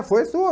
foi sua.